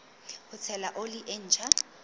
ho tshela oli e ntjha